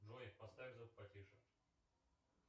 джой поставь звук потише